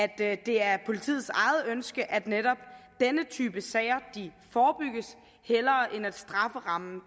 at det er politiets eget ønske at netop denne type sager forebygges hellere end at strafferammen